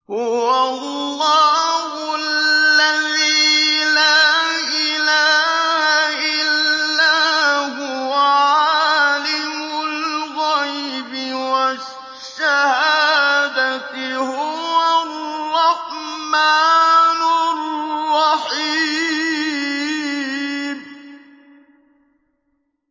هُوَ اللَّهُ الَّذِي لَا إِلَٰهَ إِلَّا هُوَ ۖ عَالِمُ الْغَيْبِ وَالشَّهَادَةِ ۖ هُوَ الرَّحْمَٰنُ الرَّحِيمُ